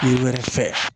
U wɛrɛ fɛ